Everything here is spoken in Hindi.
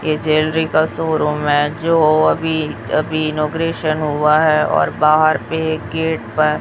ये ज्वेलरी का शोरूम है जो अभी अभी इनॉग्रेशन हुआ है और बाहर पे गेट पर --